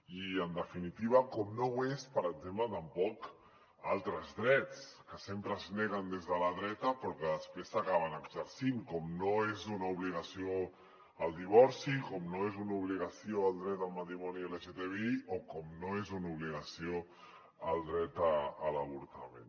i en definitiva com no ho són per exemple tampoc altres drets que sempre es neguen des de la dreta però que després s’acaben exercint com no és una obligació el divorci com no és una obligació el dret al matrimoni lgtbi o com no és una obligació el dret a l’avortament